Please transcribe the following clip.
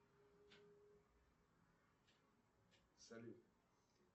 салют